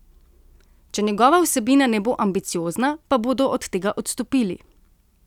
Če njegova vsebina ne bo ambiciozna, pa bodo od tega odstopili.